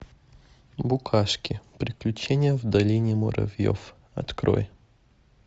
букашки приключения в долине муравьев открой